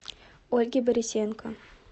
ольге борисенко